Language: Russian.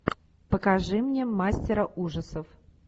покажи мне мастера ужасов